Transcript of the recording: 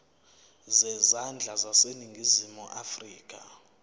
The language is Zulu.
zezandla zaseningizimu afrika